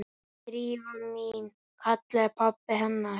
Drífa mín- kallaði pabbi hennar.